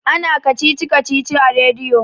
ana kacici-kacicin a rediyo